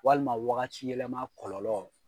Walima wagati yɛlɛma kɔlɔlɔ.